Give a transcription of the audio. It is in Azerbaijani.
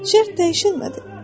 Şərt dəyişmədi.